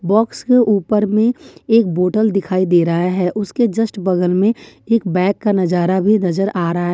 box के ऊपर में एक बोतल दिखाई दे रहा हैं उसके जस्ट बगल में एक बैग का नज़ारा भी नजर आ रहा --